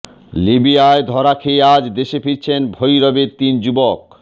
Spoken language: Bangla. লিবিয়ায় ধরা খেয়ে আজ দেশে ফিরছেন ভৈরবের তিন যুবক